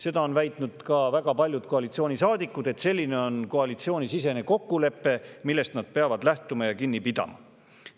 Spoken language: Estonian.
Seda on väitnud ka väga paljud koalitsioonisaadikud, kelle on see koalitsioonisisene kokkulepe, millest nad peavad lähtuma ja kinni pidama.